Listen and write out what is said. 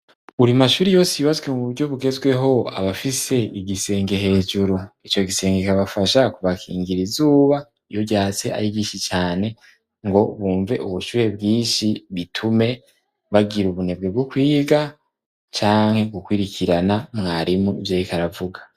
Buri mashuri yose yubatswe mu buryo bugezweho, aba afise igisenge hejuru, ico gisenge kibafasha kubakingira izuba iyo ryatse ari ryinshi cane, ngo bumve ubushuye bwishi bitume bagira ubunebwe bwo kwiga canke gukwirikirana mwarimu ivyo ariko aravuga.